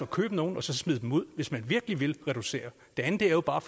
købe nogle og så smide dem ud hvis man virkelig vil reducere det andet er jo bare